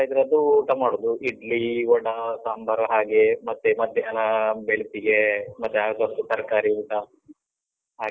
ಇದ್ರದ್ದು ಊಟ ಮಾಡುದು, ಇಡ್ಲಿ, ವಡಾ, ಸಾಂಬಾರು ಹಾಗೆ ಮತ್ತೆ ಮಧ್ಯಾಹ್ನ ಬೆಳ್ತಿಗೆ ಮತ್ತೆ ಆದಷ್ಟು ತರಕಾರಿ ಊಟ ಹಾಗೆ.